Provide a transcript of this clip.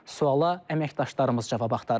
Sualla əməkdaşlarımız cavab axtarıb.